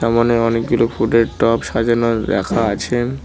মনে অনেকগুলো ফুলের টব সাজানো রাখা আছেন ।